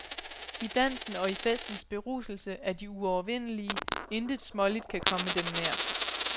I dansen og i festens beruselse er de uovervindelige, intet småligt kan komme dem nær.